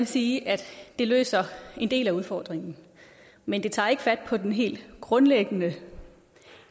sige at det løser en del af udfordringen men det tager ikke fat på den helt grundlæggende